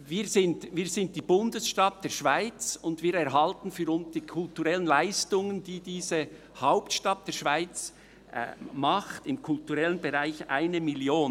Wir sind die Bundesstadt der Schweiz, und wir erhalten für die kulturellen Leistungen, die diese Hauptstadt der Schweiz im kulturellen Bereich unternimmt, 1 Mio. Franken.